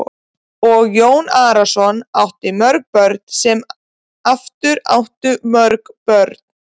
Og Jón Arason átti mörg börn sem aftur áttu mörg börn.